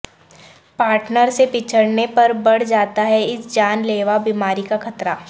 partner سے بچھڑنے پر بڑھ جاتا ہے اس جان لیوا بیماری کا خطرہ